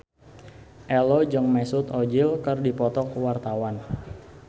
Ello jeung Mesut Ozil keur dipoto ku wartawan